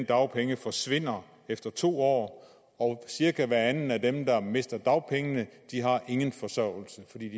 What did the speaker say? dagpenge forsvinder efter to år år cirka hver anden af dem der mister dagpengene har ingen forsørgelse fordi